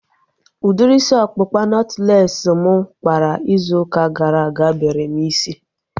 Udiri isi ọkpụkpa nọtlees mụ kpara izu ụka gara aga bere m isi